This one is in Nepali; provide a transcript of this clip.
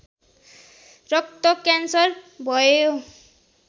रक्तक्यान्सर भयो